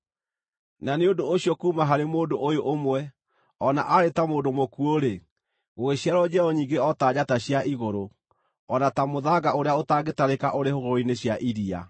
Na nĩ ũndũ ũcio kuuma harĩ mũndũ ũyũ ũmwe, o na aarĩ ta mũndũ mũkuũ-rĩ, gũgĩciarwo njiaro nyingĩ o ta njata cia igũrũ, o na ta mũthanga ũrĩa ũtangĩtarĩka ũrĩ hũgũrũrũ-inĩ cia iria.